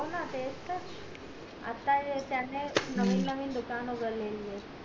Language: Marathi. ना हो ना तेच तर आता त्याने नवीन नवीन दुकान उघडलेली ये